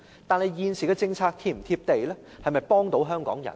但是，現時的政策是否"貼地"，能否幫助香港人呢？